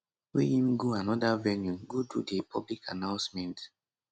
wey im go anoda venue go do di public announcement